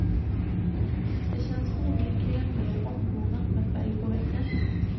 Det känns onekligen mer ombonat med färg på väggen.